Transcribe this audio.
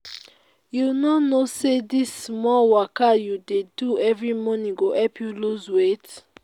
you no know say dis small waka you dey do every morning go help you lose weight